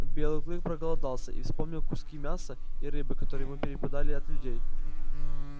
белый клык проголодался и вспомнил куски мяса и рыбы которые ему перепадали от людей